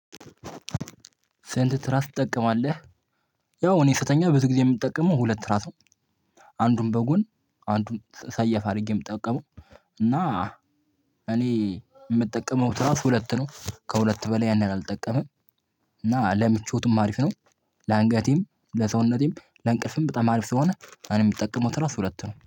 ስንት ትራስ ትጠቀማለህ? ያው እኔ ስተኛ ብዙ ጊዜ የምጠቀመው ሁለት ትራሱ አንዱን በጎን አንዱን ሰያፍ አድርጌ የምጠቀመው እና እኔ የምጠቀመው ትራስ ሁለት ነው ከሁለት በላይ ያን ያሀል አልጠቀመም። እና ለምቾቱም አሪፍ ነው። ለአንገቴም ለሰውነቴም ለእንቅልፍም በጣም አሪፍ ስለሆነ እኔ የምጠቀመው ትራስ ሁለት ነው